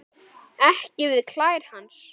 Ekki við klær hans.